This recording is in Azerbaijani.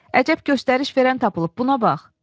Əcəb göstəriş verən tapılıb buna bax.